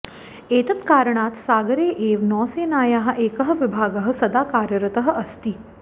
एतत्कारणात् सागरे एव नौसेनायाः एकः विभागः सदा कार्यरतः अस्ति